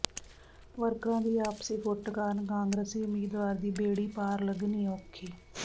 ਵਰਕਰਾਂ ਦੀ ਆਪਸੀ ਫੁੱਟ ਕਾਰਨ ਕਾਂਗਰਸੀ ਉਮੀਦਵਾਰ ਦੀ ਬੇੜੀ ਪਾਰ ਲੱਗਣੀ ਔਖੀ